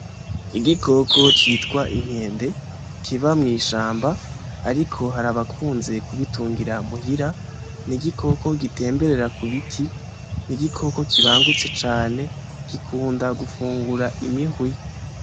Igikoko citwa inkende kiba mwishamba ariko hari abakunze ku bitungira muhira n'igikoko gitemberera ku biti n'igikoko kibangutse cane gikunda gufungura imihwi.